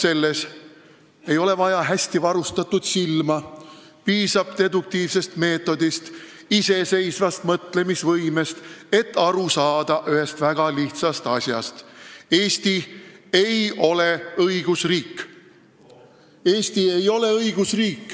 Selleks ei ole vaja hästi varustatud silma, piisab deduktiivsest meetodist ja iseseisvast mõtlemisvõimest, et saada aru ühest väga lihtsast asjast: Eesti ei ole õigusriik.